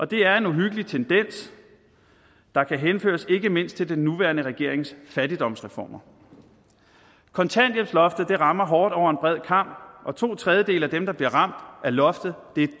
det er en uhyggelig tendens der kan henføres ikke mindst til den nuværende regerings fattigdomsreformer kontanthjælpsloftet rammer hårdt over en bred kam og to tredjedele af dem der bliver ramt af loftet er